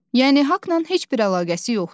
Yəni haqla heç bir əlaqəsi yoxdur.